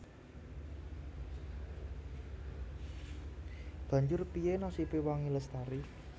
Banjur piyé nasibé Wangi Lestari